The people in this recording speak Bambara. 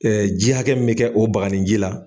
ji hakɛ min bɛ kɛ o bagani ji la.